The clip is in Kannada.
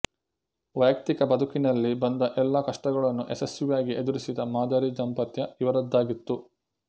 ವೈಯಕ್ತಿಕ ಬದುಕಿನಲ್ಲಿ ಬಂದ ಎಲ್ಲ ಕಷ್ಟಗಳನ್ನು ಯಶಸ್ವಿಯಾಗಿ ಎದುರಿಸಿದ ಮಾದರಿ ದಾಂಪತ್ಯ ಇವರದ್ದಾಗಿತ್ತು